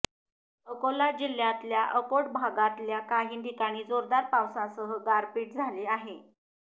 अकोला जिल्ह्यातल्या अकोट भागातल्या काही ठिकाणी जोरदार पावसासह गारपीट झाली आहे